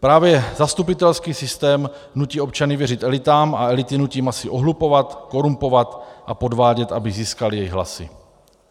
Právě zastupitelský systém nutí občany věřit elitám a elity nutí masy ohlupovat, korumpovat a podvádět, aby získal jejich hlasy.